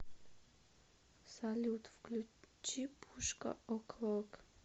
салют включи пушка о клок